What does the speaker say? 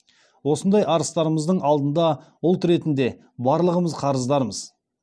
осындай арыстарымыздың алдында ұлт ретінде барлығымыз қарыздармыз